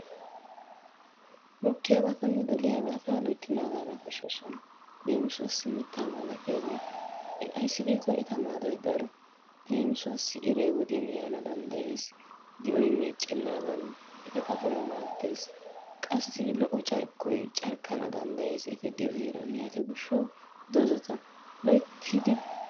Mokkiyabatanne doliyabata loytti naagana koshshoosona. Leem, mittaa malatiyabata. Ayssi giikko eta maadoy daro. Leem, iray wodiyan yaana danddayees. Di'oy meeccennaadan xaphphoy maaddees. Qassi lo'o carkkoy carkkana danddayees. Yaatiyo gishshawu doozzata loyttidi,,